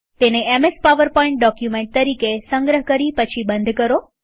તેને MS PowerPoint document તરીકે સંગ્રહ કરી પછી બંધ કરો